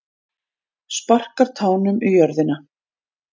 Sparkar tánum í jörðina.